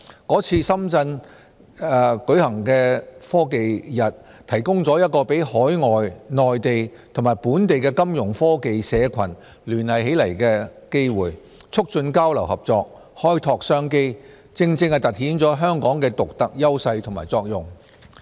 是次深圳日提供一個讓海外、內地和本地的金融科技社群聯繫起來的機會，促進交流合作，開拓商機，正正突顯了香港的獨特優勢和作用。